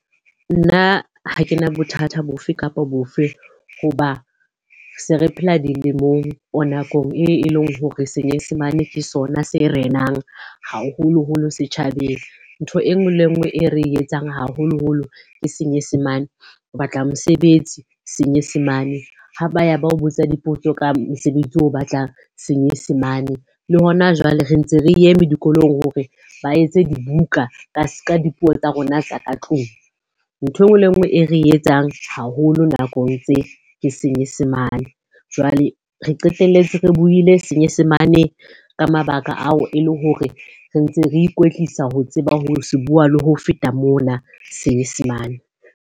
Nna ha kena bothata bofe kapa bofe hoba se re phela dilemong o nakong e eleng hore senyesemane ke sona se renang haholoholo setjhabeng. Ntho e nngwe le e nngwe e re etsang haholoholo ke senyesemane. Ho batla mosebetsi, senyesemane. Ha ba ya ba o botsa dipotso ka mosebetsi o batlang senyesemane. Le hona jwale re ntse re eme dikolong hore ba etse dibuka ka dipuo tsa rona tsa ka tlung. Ntho e nngwe le e nngwe e re etsang haholo nakong tse, ke senyesemane. Jwale re qeteletse re buile senyesemane ka mabaka ao e le hore re ntse re ikwetlisa ho tseba ho se bua le ho feta mona, senyesemane.